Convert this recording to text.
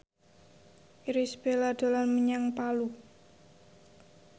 Irish Bella dolan menyang Palu